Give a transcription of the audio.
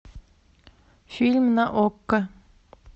фильм на окко